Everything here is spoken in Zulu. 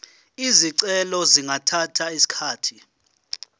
izicelo zingathatha isikhathi